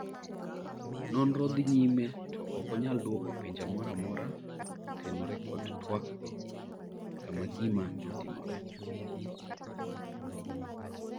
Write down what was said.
nonro dhi nyime to ok onyal dwoko penjo moro amora kotenore kod twakgo kama gima notimore